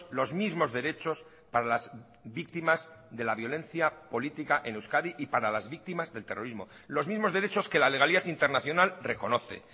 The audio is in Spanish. los mismos derechos para las víctimas de la violencia política en euskadi y para las víctimas del terrorismo los mismos derechos que la legalidad internacional reconoce